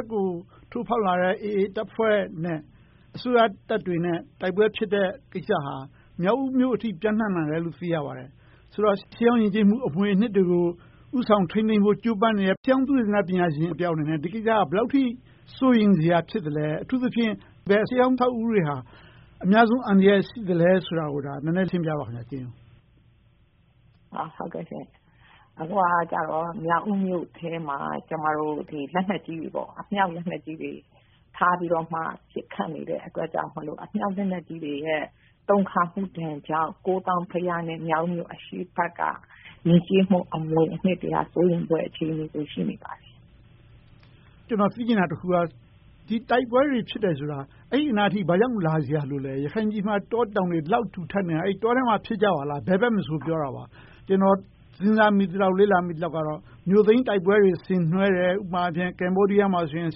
င်ကို ထိုးဖောက်ဝင်ရောက်လာတဲ့ AA တပ်ဖွဲ့နဲ့ အစိုးရတပ်တွေနဲ့ တိုက်ပွဲဖြစ်တဲ့ကိစ္စဟာ မြောက်ဦးမြို့အထိ ပျံ့နံှ့လာတယ်လို့ သိရပါတယ်။ ဆိုတော့ ရှေးဟောင်းအမွေအနစ်တွေကို ဦးဆောင်ထိန်းသိမ်းမှု ကြိုးပမ်းနေတဲ့ ရှေးဟောင်းသုတေသနပညာရှင် တယောက်အနေနဲ့ ဒီကိစ္စက ဘယ်လောက်အထိ စိုးရိမ်စရာ ဖြစ်သလဲ။ အထူးသဖြင့် ရှေးဟောင်းအဆောက်အဦတွေဟာ အများဆုံး အန္တရာယ်ရှိသလဲဆိုတာကို နည်းနည်းရှင်းပြပေးပါ။ အခုက မြောက်ဦးမြို့ထဲမှာ ကျမတို့ လက်နက်ကြီး၊ အမြောက်လက်နက်ကြီးတွေ ထားပြီးတော့ ပစ်ခတ်နေတဲ့အတွက်ကြောင့် အမြောက်လက်နက်ကြီးတွေရဲ့ တုန်ခါမှုဒဏ်ကြောင့် ကိုးသောင်းဘုရားနဲ့ မြောက်ဦးမြို့အရှေ့ဘက်က ယဉ်ကျေးမှုအမွေအနစ်တွေက စိုးရိမ်ဖွယ်အခြေအနေမှာ ရှိနေပါတယ်။ ကျနော် သိချင်တာတခုက ဒီတိုက်ပွဲတွေဖြစ်တယ်ဆိုတာ အဲဒီအနားအထိ ဘာကြောင့်လာစရာလိုလဲ။ ရခိုင်ပြည်နယ်မှာ တောတောင်တွေ ဒီလောက်ထူထပ်နေတာ အဲဒီတောတွေထဲမှာ ဖြစ်ကြပါလား။ ဘယ်ဘက်မဆို ပြောတာပါ။ ကျနော် စဉ်းစားမိသလောက်၊ လေ့လာမိသလောက်တော့ မြို့သိမ်းတိုက်ပွဲတွေ ဆင်နွှဲတယ်။ ဥပမာ ကမ္ဘောဒီးယားမှာဆိုရင်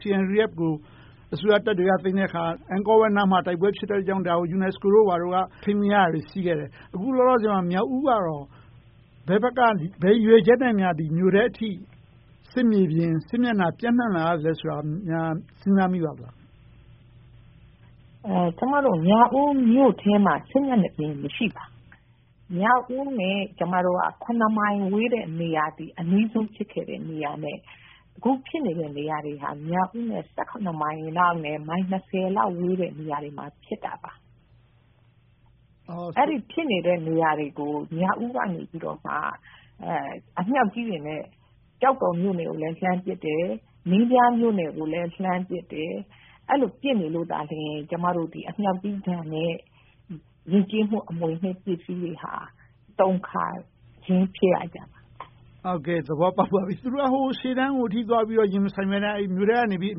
Siem Reap ကို အစိုးရတပ်တွေက သိမ်းပိုက်တဲ့အခါ အန်ကာဝပ်အနားမှာ တိုက်ပွဲတွေဖြစ်တဲ့အခါ UNESCO တို့က ထိန်းသိမ်းကာကွယ်ခဲ့ရတာတွေ ရှိခဲ့တယ်။ အခုလောလောဆယ်မှာတော့ မြောက်ဦးကတော့ ဘယ်ရည်ရွယ်ချက်နဲ့များ မြို့ထဲအထိ စစ်မြေပြင်ဖြစ်၊ စစ်မျက်နှာပြင် ပျံ့နံှ့လာခဲ့သလဲဆိုတာကို စဉ်းစားမိပါသလား။ ကျမတို့ မြောက်ဦးမြို့ထဲမှာ စစ်မျက်နှာပြင်တွေ ရှိပါတယ်။ မြောက်ဦးနဲ့ မိုင်ဝေးတဲ့ နေရာက အနီးဆုံး ဖြစ်နေတဲ့နေရာနဲ့ အခုဖြစ်နေတဲ့ နေရာတွေဟာ မြောက်ဦးနဲ့ မိုင်လောက်နဲ့ မိုင် လောက်ဝေးတဲ့ နေရာတွေမှာ ဖြစ်တာပါ။ အဲဒီ ဖြစ်နေတဲ့ နေရာတွေကို မြောက်ဦးကနေ အမြောက်ကြီးတွေနဲ့ ကျောက်တောမြို့ကိုလည်း လှမ်းပစ်တယ်။ မင်းပြာမြို့နယ်ကိုလည်း လှမ်းပစ်တယ်။ အဲဒီလို ပစ်နေလို့ ကျမတို့ အမြောက်ဒဏ်နဲ့ ယဉ်ကျေးမှုအမွေအနစ်ပစ္စည်းတွေဟာ တုန်ခါခြင်း ဖြစ်ရတာပါ။ သူတို့က ရှေ့တန်းကိုသွားပြီးတော့ ရင်မဆိုင်ဘဲနဲ့ မြို့ထဲကနေ အ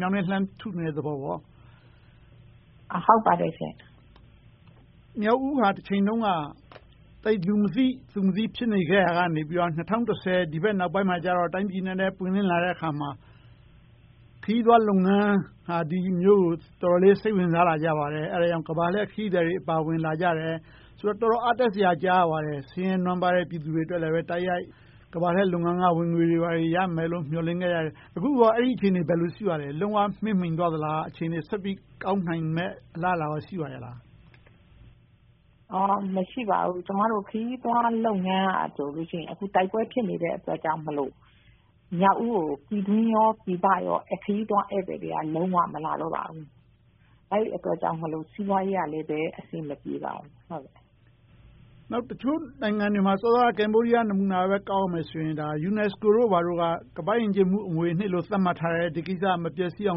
မြောက်နဲ့ လှမ်းပစ်နေတဲ့ သဘောပေါ့။ ဟုတ်ပါတယ်ရှင့်။ မြောက်ဦးက တချိန်တုန်းက လူမသိသူမသိ ဖြစ်နေခဲ့ရာကနေ ၂၀၁၀ ဒီဘက်နောက်ပိုင်းမှာကြတော့ တိုင်းပြည်နည်းနည်း ပွင့်လင်းလာတဲ့အခါမှာ ခရီးသွားလုပ်ငန်းဟာ ဒီမြို့ကို တော်တော်လေး စိတ်ဝင်စားလာကြပါတယ်။ အဲဒါကြောင့် ကမ္ဘာလှည့်ခရီးသွားတွေအပါအဝင် လာကြတယ်။ တော်တော်လေး အားတက်စရာ ကြားသိရပါတယ်။ ဆင်းရဲနွှမ်းပါးတဲ့ ပြည်သူတွေလည်း တိုက်ရိုက် ကမ္ဘာလှည့်လုပ်ငန်းကနေ ဝင်ငွေတွေရမယ်လို့ မျှော်လင့်ခဲ့ကြတယ်။ အခုကော အဲဒီအခြေအနေ ဘယ်လိုရှိပါသလဲ။ လုံးဝမှေးမှိန်သွားသလား။ အခြေအနေဆက်ပြီးတော့ ကောင်းနိုင်မယ့် အလားအလာကော ရှိပါရဲ့လား။ မရှိပါဘူး။ ကျမတို့ ခရီးသွားလုပ်ငန်းကဆိုရင် အခု တိုက်ပွဲဖြစ်နေတာကြောင့် မြောက်ဦးကို ပြည်တွင်း၊ ပြည်ပ ခရီးသွားဧည့်သည်တွေက လုံးဝမလာတော့ပါဘူး။ အဲဒီအတွက်ကြောင့်မို့ စီးပွားရေးကလည်း အဆင်မပြေပါဘူး။ နောက်တချို့နိုင်ငံတွေမှာ စောစောက ကမ္ဘောဒီးယား နမူနာကိုပဲ ကောက်ယူပြောရမယ်ဆိုရင် UNESCO တို့က ကမ္ဘာ့ယဉ်ကျေးမှု အမွေအနစ်လို့ သတ်မှတ်ထားတယ်။ ဒီကိစ္စ မပျက်ဆီးအော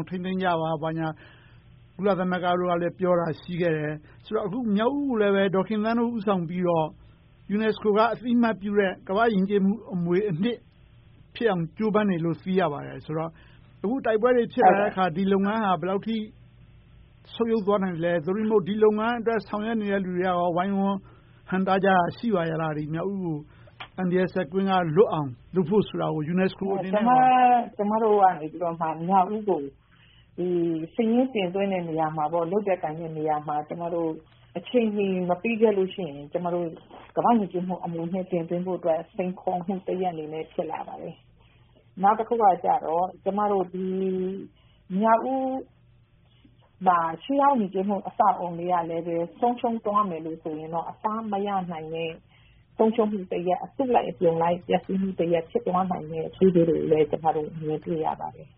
င် ထိန်းသိမ်းကြပါ ဘာညာ ကုလက ပြောတာတွေလည်း ရှိခဲ့တယ်။ အခု မြောက်ဦးကိုလည်း ဒေါ်ခင်သန်းတို့ ဦးဆောင်ပြီးတော့ UNESCO က အသိအမှတ်ပြုတယ့် ကမ္ဘာ့ယဉ်ကျေးမှုအမွေအနစ်ဖြစ်အောင် ကြိုးပမ်းနေတယ်လို့ သိရပါတယ်။ အခုတိုက်ပွဲတွေ ဖြစ်လာတဲ့အခါ ဒီလုပ်ငန်းဟာ ဘယ်လောက်အထိ ဆုတ်ရုတ်သွားနိုင်သလဲ။ သို့တည်မဟုတ် ဒီလုပ်ငန်းအတွက် ဆောင်ရွက်နေတဲ့ လူတွေက ဝိုင်းဝန်ဟန့်တားကြတာ ရှိပါသလား။ မြောက်ဦးကို အန္တရာယ်စက်ကွင်းကလွတ်အောင် လုပ်ဖို့ဆိုတာကို UNESCO အဖွဲ့က လုပ်ဆောင်နေပါတယ်။ ကျမတို့ မြောက်ဦးကို စာရင်းတင်သွင်းတဲ့နေရာမှာ လုပ်ကိုင်တဲ့အခါမှာ အချိန်မီ မပေးခဲ့လို့ရှိရင် ကျမတို့ ကမ္ဘာ့ယဉ်ကျေးမှု အမွေအနစ် တင်သွင်းဖို့အတွက် စိန်ခေါ်မှုတရပ်အနေနဲ့ ဖြစ်လာပါတယ်။ နောက်တခုကြတော့ မြောက်ဦးမှာ ရှေးဟောင်းယဉ်ကျေးမှု အဆောက်အအုံလေးကလည်း ဆုံးရှုံးသွားမယ်ဆိုရင်တော့ အစားထိုး မရနိုင်တဲ့ ဆုံးရှုံးမှုတရပ် အစုလိုက်အပြုံလိုက် ပျက်ဆီးမှုတရပ် ဖြစ်သွားနိုင်တဲ့ ဈေးသည်တွေကိုလည်း ကျမတို့ မဲပေးရပါတယ်။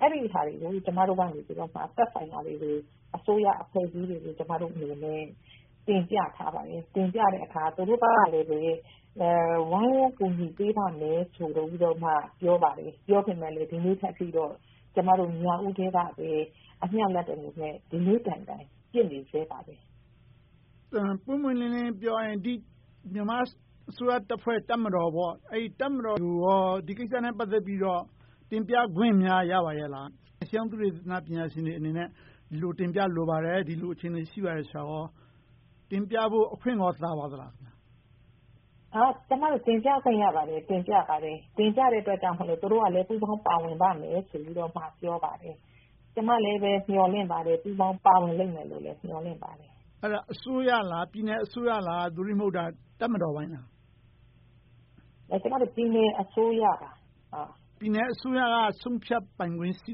အဲဒီဟာတွေကို ကျမတို့က သက်ဆိုင်တာလေးတွေကို အစိုးရအဖွဲ့အစည်းတွေနဲ့ တင်ပြထားပါတယ်။ တင်ပြထားတဲ့အခါမှာ ဝိုင်းဝန်ကူညီပေးခဲ့ပါမယ်လို့ ပြောပါတယ်။ ပြောပေမယ့်လဲ ဒီနေ့ထက်ထိတော့ ကျမတို့ ညောင်ဦးထဲကပဲ အမြောက်လက်နက်တွေနဲ့ ဒီနေ့တိုင် ပစ်နေဆဲပါပဲ။ ပွင့်ပွင့်လင်းလင်း ပြောရရင် မြန်မာ့အစိုးရတပ်ဖွဲ့ တပ်မတော်ကို ဒီကိစ္စနဲ့ ပတ်သက်ပြီးတော့ တင်ပြခွင့်ရပါရဲ့လား။ ရှေးဟောင်းသုတေသနပညာရှင်တွေအနေနဲ့ ဒီလိုတင်ပြလိုပါတယ်။ ဒီလို အခြေအနေရှိပါတယ်ဆိုတာကို တင်ပြဖို့ အခွင့်သာပါရဲ့လား။ ကျမတို့ တင်ပြခွင့်ရပါတယ်။ တင်ပြတဲ့အတွက်ကြောင့် သူတို့လည်း ပူးပေါင်းပါဝင်ပါမယ်လို့ ပြောပါတယ်။ ကျမလည်း မျှော်လင့်ပါတယ်။ ပူးပေါင်းပါဝင်မယ်လို့ မျှော်လင့်ပါတယ်။ အဲဒါ ပြည်နယ်အစိုးရလား။ သို့တည်းမဟုတ် တပ်မတော်လား။ ပြည်နယ်အစိုးရပါ။ ပြည်နယ်အစိုးရက ဆုံးဖြတ်ပိုင်ခွင့် ရှိ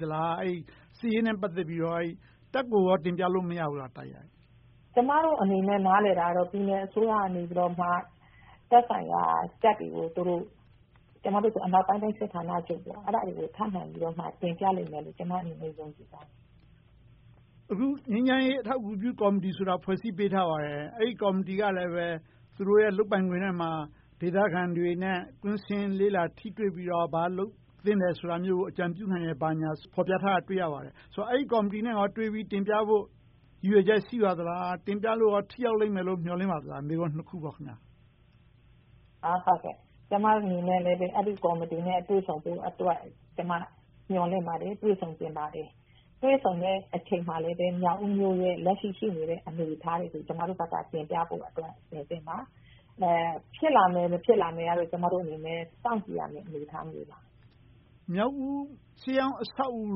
ပါလား။ စစ်ရေးနဲ့ ပတ်သက်ပြီးတော့ တပ်ကိုရော တိုက်ရိုက်တင်ပြခွင့် မရှိဘူးလား။ ကျမတို့အနေနဲ့ နားလည်တာကတော့ ပြည်နယ်အစိုးရကနေ သက်ဆိုင်ရာတပ်တွေကို သူတို့ ပြောဖို့ - ကျမတို့ဆိုရင် အနောက်ပိုင်းတိုင်း စစ်ဌာနချုပ် အဲဒါတွေကို တင်ပြကြမယ်လို့ ကျမအနေနဲ့ ယုံကြည်ပါတယ်။ အခု ငြိမ်းချမ်းရေးအထောက်အကူပြု ကော်မတီဆိုတာကို ဖွဲ့စည်းထားပါတယ်။ အဲဒီကော်မတီကလည်း သူုတိ့ရဲ့လုပ်ပိုင်ခွင့်ထဲမှာ ဒေသခံတွေနဲ့ ကွင်းဆင်းလေ့လာထိတွေ့ပြီးတော့ ဘာလုပ်သင့်သလဲဆိုတာမျိုးကို အကြံပြုဖော်ပြထားတာကို တွေ့ရပါတယ်။ ဆိုတော့ အဲဒီကော်မတီနဲ့တွေ့ပြီး တင်ပြဖို့ ရည်ရွယ်ချက် ရှိပါသလား။ တင်ပြလို့ ထိရောက်မယ်လို့ မျှော်လင့်ပါသလား။ ကျမအနေနဲ့လည်း အဲဒီကော်မတီနဲ့ တွေ့ဆုံဖို့အတွက် ကျမ မျှော်လင့်ပါတယ်။ တွေ့ဆုံချင်ပါတယ်။ တွေ့ဆုံတဲ့အချိန်မှာလည်း မြောက်ဦးမြို့ လက်ရှိ ရှိနေတဲ့အနေအထားတွေကို ကျမတို့ဘက်က တင်ပြဖို့အတွက် အဆင်သင့်ပါ။ ဖြစ်လာမယ်၊ မဖြစ်လာဘူးဆိုတာတော့ ကျမတို့အနေနဲ့ စောင့်ကြည့်ရမယ့် အနေအထားမျိုးပါ။ မြောက်ဦးရှေးဟောင်း အဆောက်အအုံ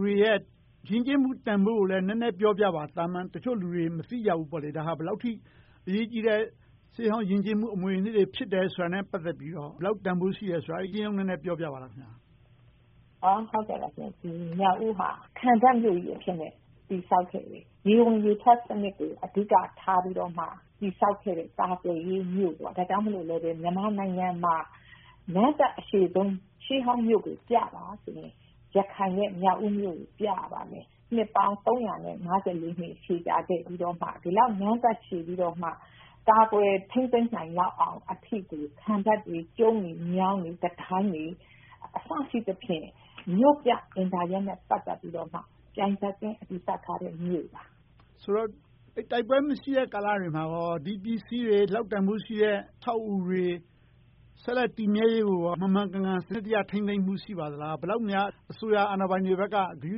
တွေရဲ့ ယဉ်ကျေးမှုတန်းဖိုးကိုလည်း နည်းနည်းပြောပြပါ။ သာမန်တချို့လူတွေ မသိကြပါဘူး။ ဒါက ဘယ်လောက်အထိ အရေးကြီးတဲ့ ရှေးဟောင်းယဉ်ကျေးမှု အမွေအနစ်တွေ ဖြစ်တယ်ဆိုတာနဲ့ ပတ်သက်ပြီးတော့ ဘယ်လောက်တန်းဖိုး ရှိတယ်ဆိုတာကို နည်းနည်းပြောပြပါ။ မြောက်ဦးဟာ ခံတပ်မြို့ကြီးအဖြစ်နဲ့ တည်ဆောက်ခဲ့ပြီး၊ ရေဝင်ရေထွက်စနစ်ကို အဓိကထားပြီးတော့ တည်ဆောက်ခဲ့တဲ့ ကာကွယ်ရေးမြို့။ ဒါကြောင့်မို့ မြန်မာနိုင်ငံမှာ နန်းသက်အရှည်ဆုံး ရှေးဟောင်းမြို့ကို ပြသပါဆိုရင် ရခိုင်နဲ့ မြောက်ဦးမြို့ပြသရပါမယ်။ နှစ်ပေါင်း နှစ် ရှည်ကြာခဲ့ပြီးတော့ ဒီလောက်နန်းသက်ရှည်ပြီးတော့မှ ကာကွယ်ထိန်းသိမ်းနိုင်လောက်အောင် ခံတပ်တွေ၊ ကျူံးတွေ မြောင်းတွေ၊ တံတိုင်းတွေ အစရှိသဖြင့် မြို့ပြအင်္ဂရပ်နဲ့ ပတ်သက်ပြီးတော့ ပြိုင်ဘက်ကင်း အတူတည်ဆောက်ထားတဲ့ မြို့ ဖြစ်ပါတယ်။ ဆိုတော့ တိုက်ပွဲမရှိတဲ့ ကာလတွေမှာ ဒီပစ္စည်းတွေ ဒီလောက်တန်းဖိုး အဆောက်အဦတွေ ဆက်လက်တည်မြဲရေးကို မှန်မှန်ကန်ကန်၊ စနစ်တကျ ထိန်းသိမ်းမှု ရှိပါသလား။ အစိုးရအာဏာပိုင်တွေဘက်က ဂရု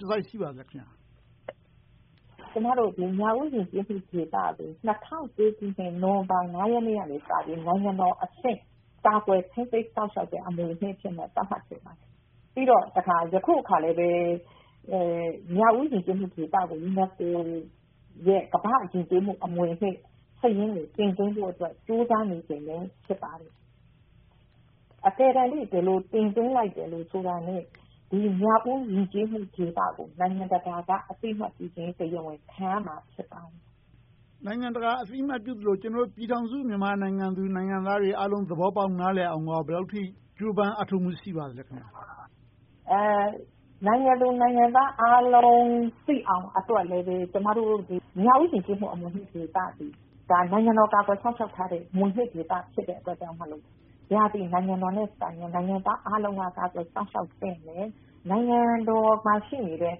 တစိုက် ရှိပါလား။ ကျမတို့ မြောက်ဦးပြင်ကို ၂၀၀၉ ခုနှစ် နိုဝင်ဘာလ ရက်နေ့ကစပြီး နိုင်ငံတော်အဆင့် ကာကွယ်ထိန်းသိမ်းဆောင်လျှောက်ရမယ့် အမွေအနစ် အဖြစ်အနေနဲ့ သတ်မှတ်ချင်ပါတယ်။ ပြီးတော့ ယခုအခါလဲ မြောက်ဦးမြို့ဒေသတဝိုက်ကို လူ ကမ္ဘာ့ယဉ်ကျေးမှု အမွေအနစ်စာရင်းကို တင်သွင်းဖို့အတွက် ကြိုးပမ်းနေချိန် ဖြစ်ပါတယ်။… တင်သွင်းလိုက်တာနဲ့ မြောက်ဦးယဉ်ကျေးမှုဒေသကို နိုင်ငံတကာက အသိအမှတ်ပြုခြင်း တရားဝင်ခံရမှာ ဖြစ်ပါတယ်။ နိုင်ငံတကာက အသိအမှတ်ပြုသလို၊ ကျနော်တို့ ပြည်ထောင်စု မြန်မာနိုင်ငံသူ၊ နိုင်ငံသားတွေ သဘောပေါက်အောင် ကြိုးပမ်းအားထုတ်မှု ရှိပါသလဲ။ နိုင်ငံသူ၊ နိုင်ငံသားအားလုံးသိအောင်အတွက်လဲ ကျမတို့ မြောက်ဦးဒေသ ယဉ်ကျေးမှု အမွေအနစ်ဒေသအဖြစ် နိုင်ငံတော်ကာကွယ်စောင့်ရှောက်ထားတဲ့ အမွေအနစ်ဒေသ ဖြစ်တဲ့အတွက်ကြောင့် နိုင်ငံတော်နဲ့ဆိုင်တဲ့ နိုင်ငံသားအားလုံးလည်း စောင့်ရှောက်သင့်တယ်။ နိုင်ငံတော်မှာ ရှိနေတဲ့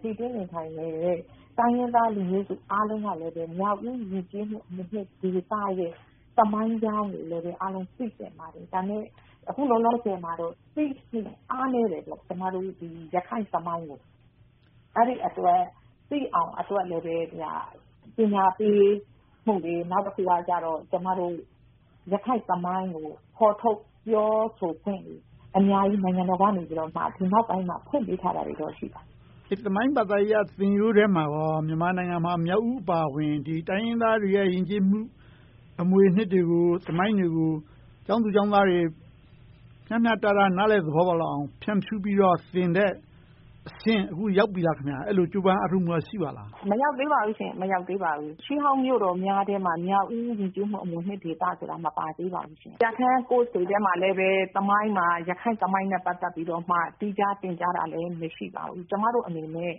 မှီတင်းနေထိုင်ကြတဲ့ တိုင်းရင်းသားလူမျိုးစုအားလုံးကလည်း မြောက်ဦး ယဉ်ကျေးမှု အမွေအနစ်ဒေသရဲ့ သမိုင်းကြောင်းကိုလည်း အားလုံးသိသင့်ပါတယ်။ ဒါပေမဲ့ အခုလောလောဆယ်မှာတော့ သိသင်မှု အားနည်းတယ်။ ကျမတို့ ရခိုင့်သမိုင်းကို။ အဲဒီအတွက် သိအောင်အတွက်ကိုလည်း ပညာပေးမှုတွေ။ နောက်တခုက ကျမတို့ရခိုင်သမိုင်းကို ဖော်ထုတ်ပြောဆိုခွင့်တွေ အများကြီး နိုင်ငံတော်ကနေ နောက်ပိုင်းမှာ ဖွင့်ပေးထားတာတွေ ရှိပါတယ်။ သမိုင်းဘာသာရပ် သင်ရိုးထဲမှာကော မြန်မာနိုင်ငံမှာ မြောက်ဦးအပါအဝင် တိုင်းရင်းသားတွေရဲ့ ယဉ်ကျေးမှု အမွေအနစ်တွေကို သမိုင်းတွေကို ကျောင်းသူကျောင်းသားတွေ မျှမျှတတ နားလည်သဘောပေါက်လာအောင် ဖြန့်ဖြူးပြီးတော့ သင်တဲ့ အဆင့်ကို ရောက်ပြီလား။ အဲဒီလို ကြိုးပမ်းအားထုတ်မှု ရှိပါသလား။ မရောက်သေးပါဘူး။ ရှေးဟောင်းမြို့တော်များထဲမှာ မြောက်ဦးယဉ်ကျေးမှု အမွေအနစ်ဒေသဆိုတာ မပါသေးပါဘူး။ ပြဌာန်းဘာသာရပ်တွေထဲမှာလည်း သမိုင်းမှာ ရခိုင့်သမိုင်းနဲ့ ပတ်သက်ပြီးတော့ သီးခြားသင်ကြားတာလည်း မရှိပါဘူး။ ကျမတို့အနေနဲ့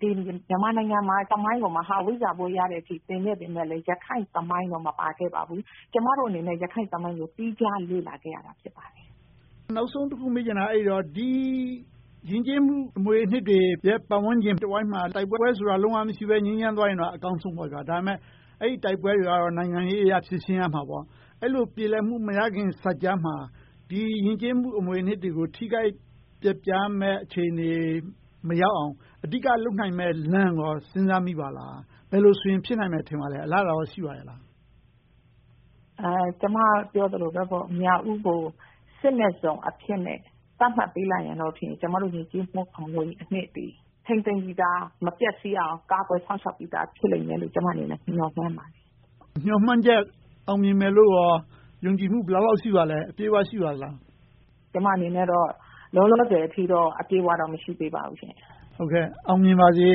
မြန်မာနိုင်ငံမှာ သမိုင်းကို မဟာဝိဇ္ဇာဘွဲ့ရတဲ့အထိ သင်ကြားခဲ့ပေမယ့်လဲ ရခိုင့်သမိုင်းတော့ မပါခဲ့ပါဘူး။ ကျမတို့အနေနဲ့ ရခိုင့်သမိုင်းကို သီးခြားလေ့လာခဲ့ရတာ ဖြစ်ပါတယ်။ နောက်ဆုံးတခု မေးချင်တာက ဒီယဉ်ကျေးမှု အမွေအနစ်တွေ ပတ်ဝန်းကျင်တဝိုက်မှာ တိုက်ပွဲဆိုတာ လုံးဝမရှိဘဲ၊ ငြိမ်းချမ်းသွားရင်တော့ အကောင်းဆုံးပေါ့။ ဒါပေမဲ့ အဲဒီတိုက်ပွဲတွေကတော့ နိုင်ငံရေးအရ ဖြေရှင်းရမှာပေါ့။ အဲဒီလို ပြေလည်မှု မရခင်ဆက်ကြားမှာ ဒီယဉ်ကျေးမှုအမွေအနစ်တွေကို ထိခိုက်ပျက်ပြားမယ့် အခြေအနေမရောက်အောင် အဓိကလုပ်နိုင်မယ့်လမ်းကော စဉ်းစားမိပါလား။ ဘယ်လိုဆိုရင် ဖြစ်နိုင်မလဲ။ အလားအလာ ရှိပါရဲ့လား။ ကျမ ပြောသလိုပဲ မြောက်ဦးကို စစ်မဲ့ဇုန်အဖြစ်နဲ့ သတ်မှတ်ပေးလိုက်ရင်တော့ ကျမတို့ ယဉ်ကျေးမှုအမွေအနစ်တွေ ထိန်းသိမ်းပြီသား၊ မပျက်ဆီးအောင် ကာကွယ်စောင့်ရှောက်ပြီ ဖြစ်လိမ့်မယ်လို့ ကျမအနေနဲ့ မျှော်မှန်းပါတယ်။ မျှော်မှန်းချက် အောင်မြင်မယ်လို့ ယုံကြည်မှု ဘယ်လောက်ရှိပါသလဲ။ အပြည့်အဝ ရှိပါလား။ ကျမအနေနဲ့ လောလောဆယ်အထိတော့ အပြည့်အဝတော့ မရှိသေးပါဘူး။ အောင်မြင်ပါစေ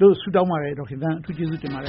လို့ ဆုတောင်းပါတယ်။ အထူးကျေးဇူးတင်ပါတယ